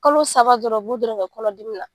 Kalo saba dɔrɔn u b'o dɔrɔn de kɛ kɔnɔdimi na.